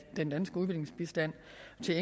se